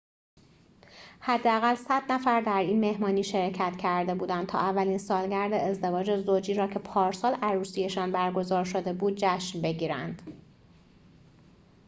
حداقل ۱۰۰ نفر در این مهمانی شرکت کرده بودند تا اولین سالگرد ازدواج زوجی را که پارسال عروسی‌شان برگزار شده بود جشن بگیرند